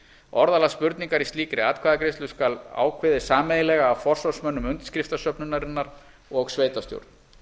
orðalag spurningar í slíkri atkvæðagreiðslu skal ákveðið sameiginlega af forsvarsmönnum undirskriftasöfnunarinnar og sveitarstjórn